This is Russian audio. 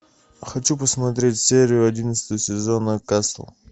хочу посмотреть серию одиннадцатого сезона касл